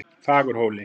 Fagurhóli